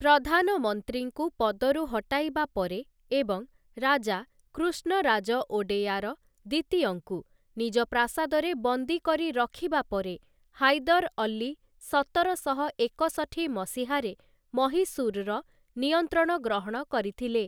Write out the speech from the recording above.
ପ୍ରଧାନମନ୍ତ୍ରୀଙ୍କୁ ପଦରୁ ହଟାଇବା ପରେ ଏବଂ ରାଜା କୃଷ୍ଣରାଜ ଓଡେୟାର ଦ୍ୱିତୀୟଙ୍କୁ ନିଜ ପ୍ରାସାଦରେ ବନ୍ଦୀ କରି ରଖିବା ପରେ ହାଇଦର୍‌ ଅଲ୍ଲୀ ସତରଶହ ଏକଷଠି ମସିହାରେ ମହୀଶୂର୍‌ର ନିୟନ୍ତ୍ରଣ ଗ୍ରହଣ କରିଥିଲେ ।